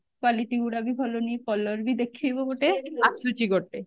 quality ଗୁଡା ବି ଭଲ ନୁହେଁ colour ବି ଦେଖେଇବ ଗୋଟେ ଆସୁଛି ଗୋଟେ